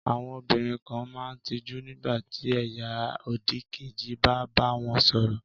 Àwọn obìnrin kan máa ń tijú nígbà tí ẹ̀yà òdìkejì bá bá wọn sọ̀rọ̀.